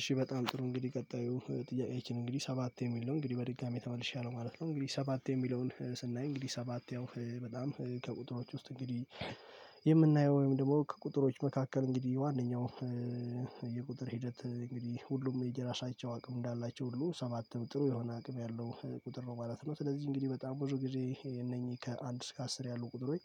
እሺ በጣም ጥሩ እንግዲህ ቀጣዩ ጥያቄአችን እንግዲህ ሰባት የሚል ነው እንግዲህ በድጋሚ ተመልሼያለሁ ማለት ነው። እንግዲህ ሰባት የሚለውን ስናይ እንግዲህ ሰባት ያው በጣም ከቁጥሮች ውስጥ እንግዲህ የምናየው ወይም ደግሞ ከቁጥሮች መካከል እንግዲህ ዋነኛው የቁጥር ሂደት እንግዲህ ሁሉም የየራሳቸው አቅም እንዳላቸው ሁሉ ሰባትም ጥሩ የሆነ አቅም ያለው ቁጥር ነው ማለት ነው። ስለዚህ እንግዲህ በጣም ብዙ ጊዜ እነኚህ ከአንድ እስከ አስር ያሉ ቁጥሮች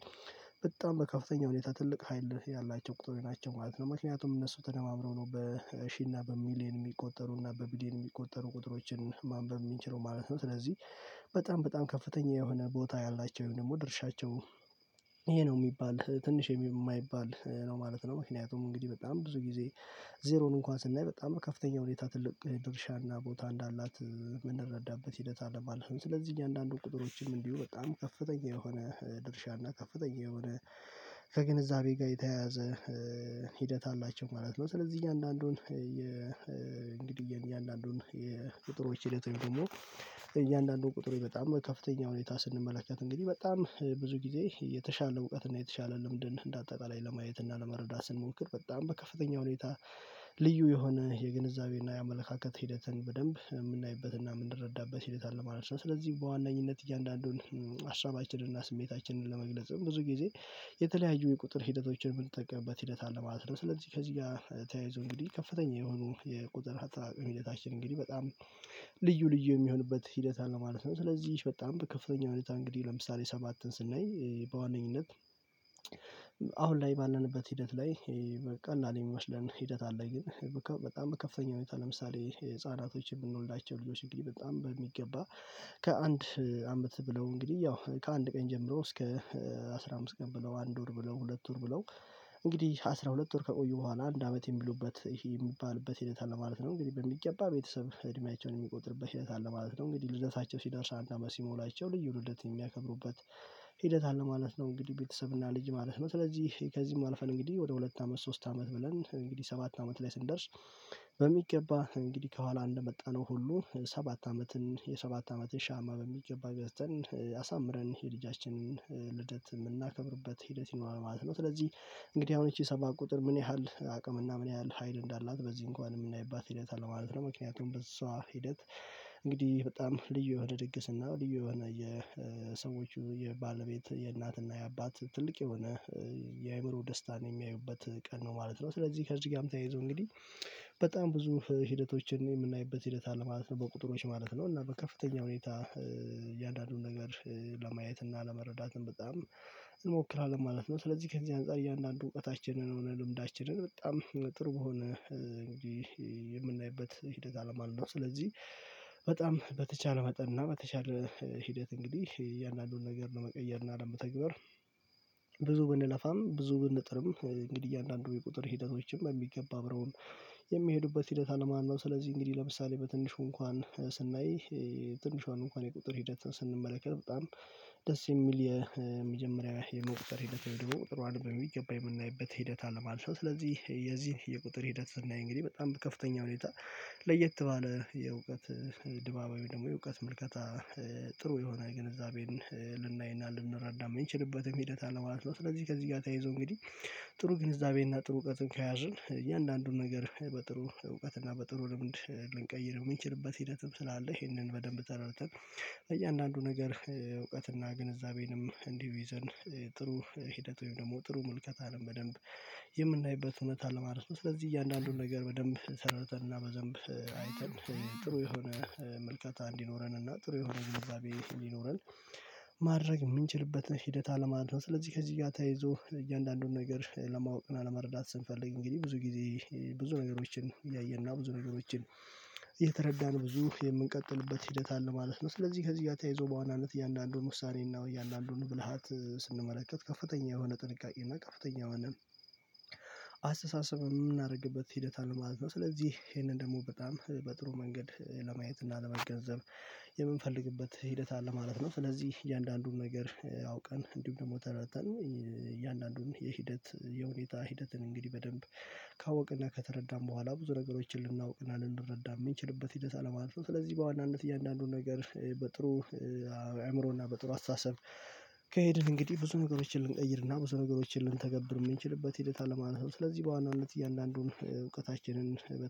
በጣም በከፍተኛ ሁኔታ ትልቅ ሀይል ያላቸው ቁጥሮች ናቸው ማለት ነው። ምክንያቱም እነሱ ተደማምረው ነው በሺህ እና በሚሊየን የሚቆጠሩ እና በቢሊየን የሚቆጠሩ ቁጥሮችን ማንበብ የምንችለው ማለት ነው። ስለዚህ በጣም በጣም ከፍተኛ የሆነ ቦታ ያላቸው ወይም ደግሞ ድርሻቸው ይሄ ነው የሚባል ትንሽ የማይባል ነው ማለት ነው። ምክንያቱም እንግዲህ በጣም ብዙ ጊዜ ዜሮን እንኳን ስናይ በጣም ከፍተኛ ሁኔታ ትልቅ ድርሻና ቦታ እንዳላት የምንረዳበት ሂደት አለ ማለት ነው። ስለዚህ አንዳንዱ ቁጥሮችም እንዲሁ በጣም ከፍተኛ የሆነ ድርሻና ከፍተኛ የሆነ ከግንዛቤ ጋር የተያያዘ ሂደት አላቸው ማለት ነው። ስለዚህ እያንዳንዱን የእንግዲህ እያንዳንዱን የቁጥሮች ሂደት ወይም ደግሞ እያንዳንዱን ቁጥሩ በጣም ከፍተኛ ሁኔታ ስንመለከት እንግዲህ በጣም ብዙ ጊዜ የተሻለ እውቀት እና የተሻለ ልምድን እንደ አጠቃላይ ለማየት እና ለመረዳት ስንሞክር በጣም በከፍተኛ ሁኔታ ልዩ የሆነ የግንዛቤና የአመለካከት ሂደትን በደንብ የምናይበትና የምንረዳበት ሂደት አለ ማለት ነው። ስለዚህ በዋነኝነት እያንዳንዱን ሀሳባችንን እና ስሜታችንን ለመግለጽ ብዙ ጊዜ የተለያዩ የቁጥር ሂደቶችን የምንጠቀምበት ሂደት አለ ማለት ነው። ስለዚህ ከዚህ ጋር ተያይዞ እንግዲህ ከፍተኛ የሆኑ የቁጥር አጠቃቀም ሂደታችን እንግዲህ በጣም ልዩ ልዩ የሚሆንበት ሂደት አለ ማለት ነው። ስለዚህ በጣም በከፍተኛ ሁኔታ እንግዲህ ለምሳሌ ሰባትን ስናይ በዋነኝነት አሁን ላይ ባለንበት ሂደት ላይ በቀላል የሚመስለን ሂደት አለ ግን በጣም በከፍተኛ ሁኔታ ለምሳሌ ህፃናቶችን የምንወልዳቸው ልጆች እንግዲህ በጣም በሚገባ ከአንድ አመት ብለው እንግዲህ ያው ከአንድ ቀን ጀምሮ እስከ አስራ አምስት ቀን ብለው አንድ ወር ብለው ሁለት ወር ብለው እንግዲህ አስራ ሁለት ወር ከቆዩ በኋላ አንድ አመት የሚሉበት ይሄ የሚባልበት ሂደት አለ ማለት ነው። እንግዲህ በሚገባ ቤተሰብ እድሜያቸውን የሚቆጥርበት ሂደት አለ ማለት ነው። እንግዲህ ልደታቸው ሲደርስ አንድ አመት ሲሞላቸው ልዩ ልደት የሚያከብሩበት ሂደት አለ ማለት ነው። እንግዲህ ቤተሰብና ልጅ ማለት ነው ስለዚህ ከዚህም አልፈን እንግዲህ ወደ ሁለት አመት ሶስት አመት ብለን እንግዲህ ሰባት አመት ላይ ስንደርስ በሚገባ እንግዲህ ከኋላ እንደመጣነው ሁሉ ሰባት አመትን የሰባት አመትን ሻማ በሚገባ ገዝተን አሳምረን የልጃችንን ልደት የምናከብርበት ሂደት ይኖራል ማለት ነው። ስለዚህ እንግዲህ አሁን ይቺ ሰባት ቁጥር ምን ያህል አቅምና ምን ያህል ሀይል እንዳላት በዚህ እንኳን የምናይባት ሂደት አለ ማለት ነው። ምክንያቱም በሷ ሂደት እንግዲህ በጣም ልዩ የሆነ ድግስ እና ልዩ የሆነ የሰዎቹ የባለቤት የእናትና የአባት ትልቅ የሆነ የአእምሮ ደስታን የሚያዩበት ቀን ነው ማለት ነው። ስለዚህ ከዚህ ጋርም ተያይዞ እንግዲህ በጣም ብዙ ሂደቶችን የምናይበት ሂደት አለ ማለት ነው። በቁጥሮች ማለት ነው እና በከፍተኛ ሁኔታ እያንዳንዱን ነገር ለማየት እና ለመረዳትም በጣም እንሞክራለን ማለት ነው። ስለዚህ ከዚህ አንፃር እያንዳንዱ እውቀታችንን ሆነ ልምዳችንን በጣም ጥሩ በሆነ እንጂ የምናይበት ሂደት አለ ማለት ነው። ስለዚህ በጣም በተቻለ መጠን እና በተቻለ ሂደት እንግዲህ እያንዳንዱን ነገር ለመቀየር እና ለመተግበር ብዙ ብንለፋም ብዙ ብንጥርም እንግዲህ አንዳንዱ የቁጥር ሂደቶችም በሚገባ አብረውን የሚሄዱበት ሂደት አለ ማለት ነው። ስለዚህ እንግዲህ ለምሳሌ በትንሹ እንኳን ስናይ ትንሿን እንኳን የቁጥር ሂደትን ስንመለከት በጣም ደስ የሚል የመጀመሪያ የመቁጠር ሂደት ነው። ድሮ ቁጥሯን በሚገባ የምናይበት ሂደት አለ ማለት ስለዚህ የዚህን የቁጥር ሂደት ስናይ እንግዲህ በጣም በከፍተኛ ሁኔታ ለየት ባለ የእውቀት ድማማዊ ደግሞ የእውቀት ምልከታ ጥሩ የሆነ ግንዛቤን ልናይና ልንረዳ የምንችልበትም ሂደት አለ ማለት ነው። ስለዚህ ከዚህ ጋር ተያይዞ እንግዲህ ጥሩ ግንዛቤና ጥሩ እውቀትን ከያዝን እያንዳንዱን ነገር በጥሩ እውቀት እና በጥሩ ልምድ ልንቀይር የምንችልበት ሂደትም ስላለ ይሄንን በደንብ ተረድተን እያንዳንዱ ነገር እውቀትና ግንዛቤንም እንዲሁ ይዘን ጥሩ ሂደት ወይም ደግሞ ጥሩ ምልከታንም በደንብ የምናይበት እውነት አለ ማለት ነው። ስለዚህ እያንዳንዱን ነገር በደንብ ሰራርተን እና በደንብ አይተን ጥሩ የሆነ ምልከታ እንዲኖረን እና ጥሩ የሆነ ግንዛቤ እንዲኖረን ማድረግ የምንችልበትን ሂደት አለ ማለት ነው። ስለዚህ ከዚህ ጋር ተያይዞ እያንዳንዱን ነገር ለማወቅ እና ለመረዳት ስንፈልግ እንግዲህ ብዙ ጊዜ ብዙ ነገሮችን እያየን እና ብዙ ነገሮችን እየተረዳነው ብዙ የምንቀጥልበት ሂደት አለ ማለት ነው። ስለዚህ ከዚህ ጋር ተያይዞ በዋናነት እያንዳንዱን ውሳኔና እያንዳንዱን ብልሃት ስንመለከት ከፍተኛ የሆነ ጥንቃቄና እና ከፍተኛ የሆነ አስተሳሰብ የምናደርግበት ሂደት አለ ማለት ነው። ስለዚህ ይሄንን ደግሞ በጣም በጥሩ መንገድ ለማየት እና ለመገንዘብ የምንፈልግበት ሂደት አለ ማለት ነው። ስለዚህ እያንዳንዱን ነገር አውቀን እንዲሁም ደግሞ ተረድተን እያንዳንዱን የሂደት የሁኔታ ሂደትን እንግዲህ በደንብ ከካወቅንና ከተረዳን በኋላ ብዙ ነገሮችን ልናውቅና ልንረዳ የምንችልበት ሂደት አለ ማለት ነው። ስለዚህ በዋናነት እያንዳንዱን ነገር በጥሩ አእምሮና በጥሩ አስተሳሰብ ከሄድን እንግዲህ ብዙ ነገሮችን ልንቀይርና ብዙ ነገሮችን ልንተገብር የምንችልበት ሂደት አለ ማለት ነው። ስለዚህ በዋናነት እያንዳንዱን እውቀታችንን በተሻለ